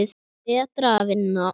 Betra að vinna.